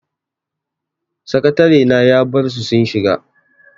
Sakatarena ya barsu sun shiga.